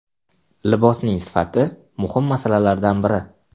Libosning sifati muhim masalalardan biri.